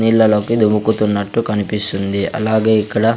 నీళ్ళలోకి దుముకుతున్నట్టు కనిపిస్తుంది అలాగే ఇక్కడ--